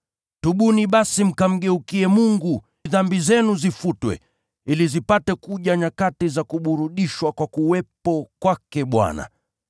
Tubuni basi mkamgeukie Mungu, dhambi zenu zifutwe, ili zipate kuja nyakati za kuburudishwa kwa kuwepo kwake Bwana,